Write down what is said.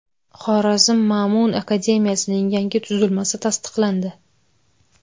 Xorazm Ma’mun akademiyasining yangi tuzilmasi tasdiqlandi.